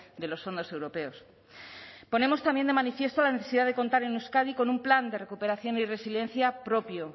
de los fondos europeos ponemos también de manifiesto la necesidad de contar en euskadi con un plan de recuperación y resiliencia propio